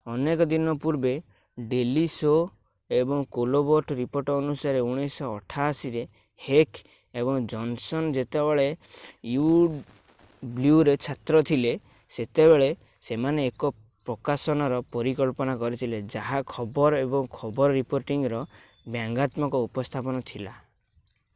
ଅନେକ ଦିନ ପୂର୍ବେ ଡେଲି ଶୋ ଏବଂ କୋଲବର୍ଟ ରିପୋର୍ଟ ଅନୁସାରେ 1988 ରେ ହେକ୍ ଏବଂ ଜନସନ ଯେତେବେଳେ ୟୁଡବ୍ଲ୍ୟୁରେ ଛାତ୍ର ଥିଲେ ସେତେବେଳେ ସେମାନେ ଏକ ପ୍ରକାଶନର ପରିକଳ୍ପନା କରିଥିଲେ ଯାହା ଖବର ଏବଂ ଖବର ରିପୋର୍ଟିଂର ବ୍ୟଙ୍ଗାତ୍ମକ ଉପସ୍ଥାପନା ଥିଲା